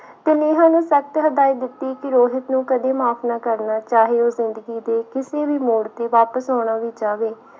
ਤੇ ਨੇਹਾਂ ਨੇ ਸਖ਼ਤ ਹਦਾਇਤ ਦਿੱਤੀ ਕਿ ਰੋਹਿਤ ਨੂੰ ਕਦੇ ਮਾਫ਼ ਨਾ ਕਰਨਾ ਚਾਹੇ ਉਹ ਜ਼ਿੰਦਗੀ ਦੇ ਕਿਸੇ ਵੀ ਮੋੜ ਤੇ ਵਾਪਿਸ ਆਉਣਾ ਵੀ ਚਾਵੇ।